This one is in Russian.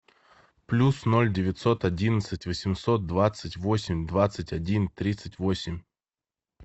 плюс ноль девятьсот одиннадцать восемьсот двадцать восемь двадцать один тридцать восемь